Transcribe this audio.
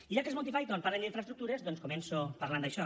i ja que els monty python parlen d’infraestructures doncs començo parlant d’això